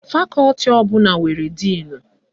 Fakọti ọbụla nwere díìnu